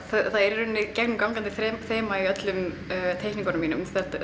það er í rauninni gegnumgangandi þema í öllum teikningunum mínum